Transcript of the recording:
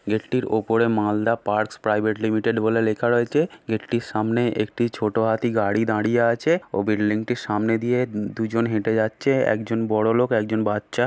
গেটটির উপরে Malda parks private limited বলে লেখা রয়েছে। গেটটির সামনে একটি ছোট হাতি গাড়ি দাঁড়িয়ে আছে। ও বিল্ডিং টির সামনে দিয়ে দু দুজন হেটে যাচ্ছে। একজন বড়ো লোক একজন বাচ্চা।